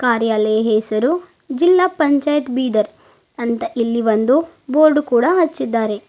ಅರಿ ಅಲ್ಲೆಯ ಹೆಸರು ಜಿಲ್ಲಾ ಪಂಚಾಯತ್ ಬೀದರ್ ಅಂತ ಇಲ್ಲಿ ಒಂದು ಬೋರ್ಡ್ ಕೂಡ ಹಾಚ್ಚಿದಾರೆ.